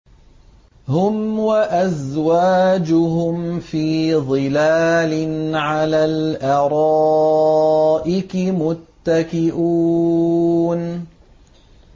هُمْ وَأَزْوَاجُهُمْ فِي ظِلَالٍ عَلَى الْأَرَائِكِ مُتَّكِئُونَ